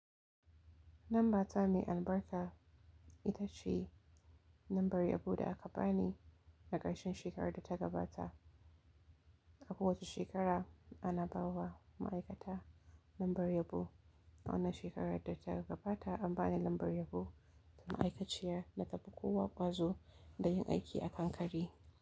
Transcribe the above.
Lamba ta mai albarka ita ce lambar yabo da aka ba ni a ƙarshen shekarar da ta gabata. A ko wace shekara ana ba wa ma'aikata lambar yabo. Wannan shekara da ta gabata an bani lambar yabo ta ma'aikaciya da tafi kowa ƙwazo da yin aiki a kanƙare.